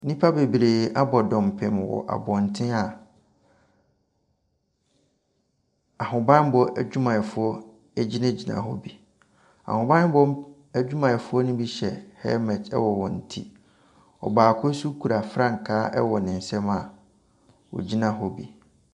Nnipa bebree abɔ dɔmpem wɔ abɔntene a ahobammɔ adwumayɛfoɔ gyinagyina hɔ bi. Ahobammɔ adwumayɛfoɔ no bi hyɛ helmet wɔ wɔn ti. Ɔbaako nso kura frankaa wɔ ne nsam a ɔgyina hɔ bi.